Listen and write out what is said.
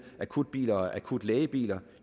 akutbiler og akutlægebiler